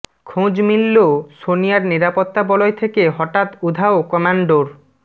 খোঁজ মিলল সোনিয়ার নিরাপত্তা বলয় থেকে হঠাত্ উধাও কম্যান্ডোর